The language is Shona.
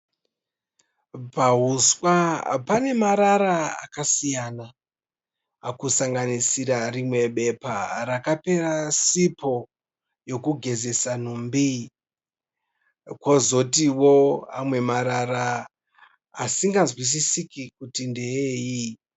Pahuswa pane marara akasiyana, kusanganisira rimwe bepa rakapera sipo yokugezesa nhumbi kozotio amwe marara asinganzwisisike kuti ndeei.